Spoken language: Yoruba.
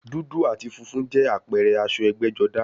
Dúdú àti funfun jẹ́ àpẹẹrẹ aṣọ ẹgbẹ́-jọdá.